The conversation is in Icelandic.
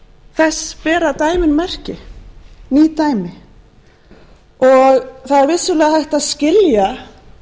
þess bera dæmin merki ung dæmi það er vissulega hægt að skilja aðstæður okkar fyrir því